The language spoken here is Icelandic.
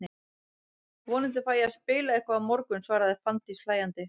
Vonandi fæ ég að spila eitthvað á morgun, svaraði Fanndís hlæjandi.